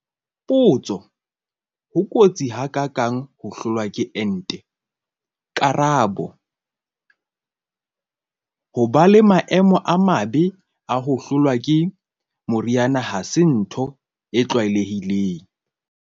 Potso- Ho kotsi ha ka kang ho hlolwa ke ente? Karabo- Ho ba le maemo a mabe a ho hlolwa ke moriana ha se ntho e tlwaelehileng.